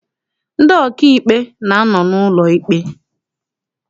Ndị ọkaikpe na-anọ n'ụlọ ikpe.